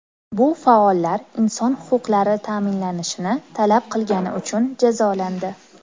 Bu faollar inson huquqlari ta’minlanishini talab qilgani uchun jazolandi.